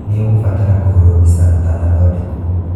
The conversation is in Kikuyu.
Nĩ ũgũbatara kũhũrwo bica ũtanathondekwo.